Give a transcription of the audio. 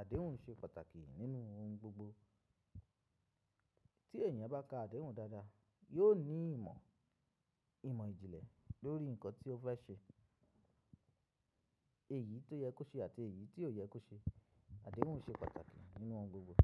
àdéhùn ṣe pàtàkì nínú ohun gbogbo. Tí èèyàn bá ka àdéhùn dáadáa, yóò ní ìmọ̀, ìmọ̀ ìjìnlẹ̀ lórí nǹkan tí ó fẹ́ ṣe, èyí tó yẹ kó ṣe àti èyí tí ò yẹ kó ṣe. Àdéhùn ṣe pàtàkì nínú ohun gbogbo.